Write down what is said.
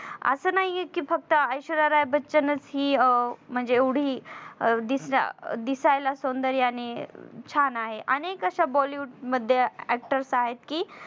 असं नाहीय कि फक्त ऐश्वर्या राय बच्चनचं दिसायला हि अं म्हणजे एवढी दिसा दिसायला सौंदर्याने छान आहे अनेक अशा bollywood मध्ये actors आहेत कि